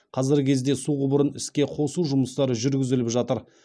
қазіргі кезде су құбырын іске қосу жұмыстары жүргізіліп жатыр